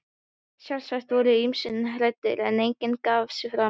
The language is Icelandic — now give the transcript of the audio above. Sjálfsagt voru ýmsir hræddir, en enginn gaf sig fram.